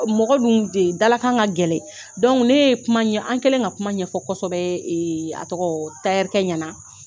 Mɔgɔ dun de dala kan ka gɛlɛn ne ye kuma an kɛlen ka kuma ɲɛfɔ kosɛbɛ a tɔgɔ ɲɛna